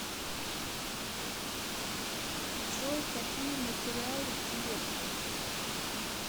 джой какие материалы в тебе